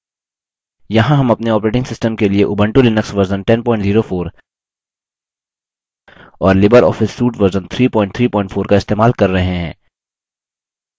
यहाँ हम अपने operating system के लिए उबंटू लिनक्स version 1004 और लिबर ऑफिस suite वर्ज़न 334 इस्तेमाल कर रहे हैं